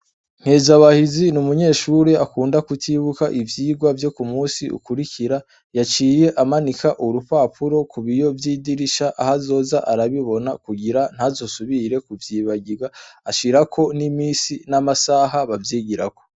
Nkezabahizi ni umunyeshure akunda kutibuka ivyigwa vyo k'umusi ukurikira, yaciye amanika urupapuro ku biyo vy'idirisha aho azoza arabibona kugira ntazosubire kuvyibagirwa, ashirako n'imisi n'amasaha bavyigirako.